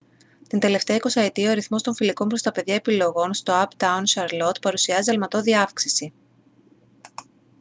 την τελευταία εικοσαετία ο αριθμός των φιλικών προς τα παιδιά επιλογών στο uptown charlotte παρουσιάζει αλματώδη αύξηση